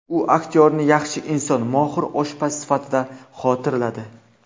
U aktyorni yaxshi inson, mohir oshpaz sifatida xotirladi.